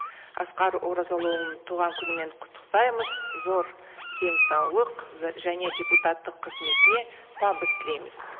асқар оразалыұлын туған күнімен құттықтаймыз зор денсаулық және депутаттық қызметіне табыс тілейміз